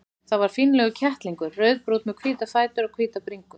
Það var fínlegur kettlingur, rauðbrúnn með hvíta fætur og hvíta bringu.